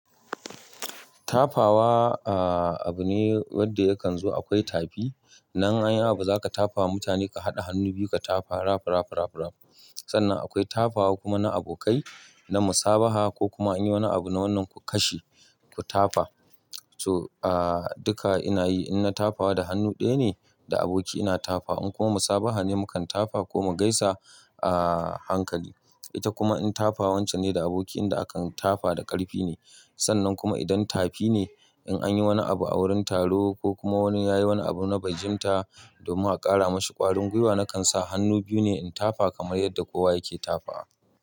Tafawa, a-a abu ne wanda yakan zo akwai tafi. Nan anyi abu za ka tafawa mutane ka haɗa hannu biyu ka tafa rafa rafa rafa rafa. Sannan akwai tafawa kuma na abokai na musabaha ko kuma an yi wani abu na wannan ku kashe ku tafa. To a duka ina yi in na tafawa da hannu ɗaya ne da aboki ina tafa in kuma musabaha ne mu kan tafa ko mu gaisa a hankali. Ita kuma in tafa wancen ne da aboki inda akan tafa da ƙarfi ne. Sannan kuma idan tafi ne in an yi wani abu a wurin taro ko kuma wani ya yi wani abu na bai jin ta domin a ƙara mashi ƙwarin gwiwa na kan sa hannu biyu ne in tafa kamar yadda kowa yake tafa.